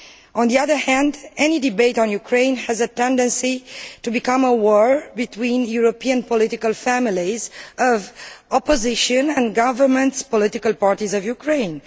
On the other hand, any debate on Ukraine has a tendency to become a war between the European political families of the opposition and government political parties of Ukraine.